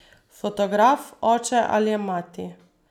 Fotograf, oče ali mati.